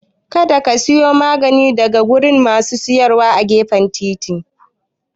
Kada ka siya maganin daga wurin masu saidawa a gefen titi